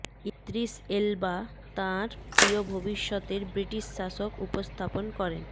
Idris Elba তাঁর প্রিয় ভবিষ্যতের ব্রিটিশ শাসক উপস্থাপন করেন